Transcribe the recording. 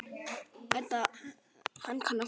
Þetta er magnað.